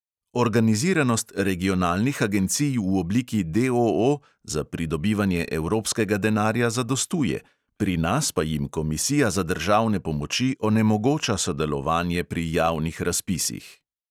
Organiziranost regionalnih agencij v obliki D O O za pridobivanje evropskega denarja zadostuje, pri nas pa jim komisija za državne pomoči onemogoča sodelovanje pri javnih razpisih.